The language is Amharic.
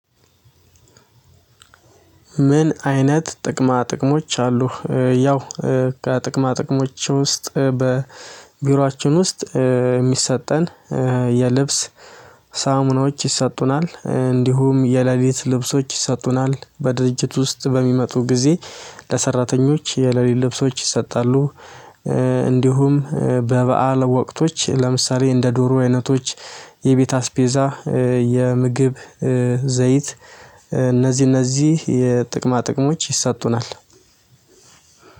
"ምን አይነት ጥቅማ ጥቅሞች አሉህ?" ያው ከጥቅማ ጥቅሞቼ ውስጥ በቢሯችን ውስጥ የሚሰጠን የልብስ ሳሙናዎች ይሰጡናል፣ እንዲሁም የሌሊት ልብሶች ይሰጡናል፣ በድርጅት ውስጥ በሚመጡ ጊዜ ለሰራተኞች የሌሊት ልብሶች ይሰጣሉ። እንዲሁም በበዓል ወቅቶች ለምሳሌ እንደ ዶሮ አይነቶች፣ የቤት አስቤዛ፣ የምግብ ዘይት፣ እነዚህ እነዚህ የጥቅማ ጥቅሞች ይሰጡናል።